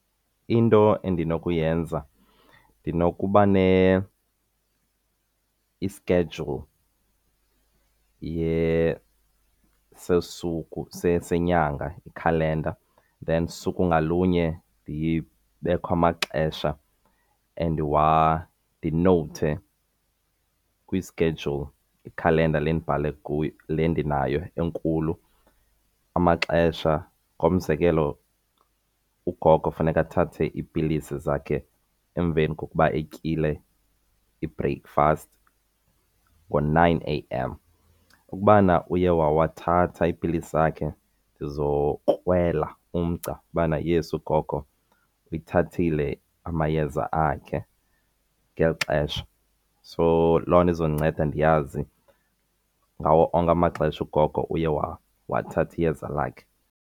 Into endinokuyenza ndinokuba i-schedule senyanga, iikhalenda. Then usuku ngalunye kubekho amaxesha ndinowuthe kwi-schedule, ikhalenda le ndibhale kuyo, le ndinayo enkulu, amaxesha. Ngomzekelo ugogo funeke athathe iipilisi zakhe emveni kokuba etyile i-breakfast ngo-nine A_M. Ukubana uye wawathatha iipilisi zakhe ndizokrwela umgca ubana yes ugogo uyithathile amayeza akhe ngeli xesha. So loo nto izondinceda ndiyazi ngawo onke amaxesha ugogo uye wathatha iyeza lakhe.